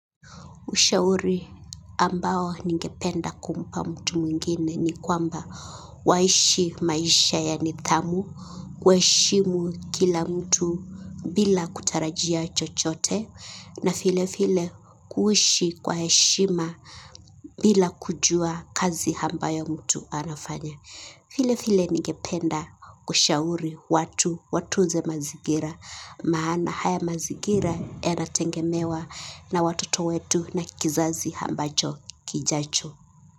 Ushauri ambao ningependa kumpa mtu mwingine ni kwamba waishi maisha ya nidhamu, waheshimu kila mtu bila kutarajia chochote na vile vile kuishi kwa heshima bila kujua kazi ambayo mtu anafanya. Vile vile ningependa kushauri watu watu nze mazingira maana haya mazingira yana tegemewa na watoto wetu na kizazi ambacho kijacho.